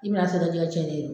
I bi n'a sɔrɔ i ka jɛkɛ tiɲɛnen do